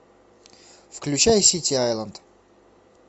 включай сити айленд